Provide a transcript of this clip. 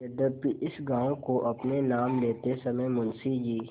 यद्यपि इस गॉँव को अपने नाम लेते समय मुंशी जी